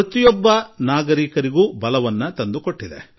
ಪ್ರತಿಯೊಬ್ಬ ನಾಗರಿಕನಿಗೂ ಶಕ್ತಿ ತಂದುಕೊಟ್ಟಿದೆ